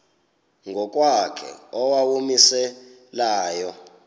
ngokwakhe owawumise layo